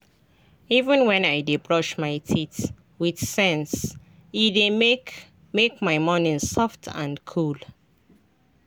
even when i dey brush my teeth with sense — e dey make make my morning soft and cool.